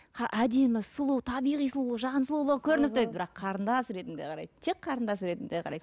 әдемі сұлу табиғи сұлулық жан сұлулығы көрініп тұр дейді бірақ қарындас ретінде қарайды тек қарындас ретінде қарайды